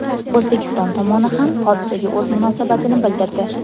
O‘zbekiston tomoni ham hodisaga o‘z munosabatini bildirdi .